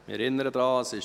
Ich erinnere daran: